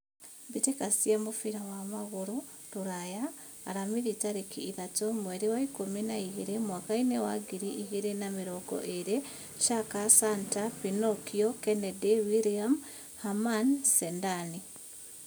Mbitika cia mũbira wa magũrũ rũraya, aramithi tarĩki ithatũ, mweri wa ikũmi na igĩrĩ, mwakainĩ wa ngiri igĩrĩ na mĩrongo ĩrĩ: Shaka, Santa, Pinokio, Kennedy, William, Haman, Zedani